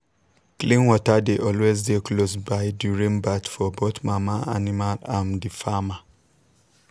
clean water dey always dey close by during birth for both mama animal and the farmer.